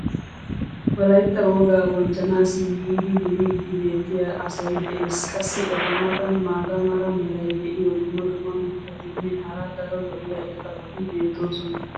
wolaytta wogaa bonchchanaassi yiidi duriidi beetiya asay des. qassi eta matan maata mala meray diyo dumma dumma mitatinne hara daro lo'iya irxxabati beetoosona.